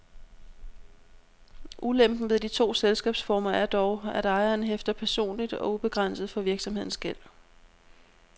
Ulempen ved de to selskabsformer er dog, at ejeren hæfter personligt og ubegrænset for virksomhedens gæld.